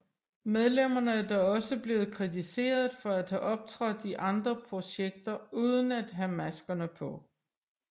Medlemmerne er dog også blevet kritiseret for at have optrådt i andre projekter uden at have maskerne på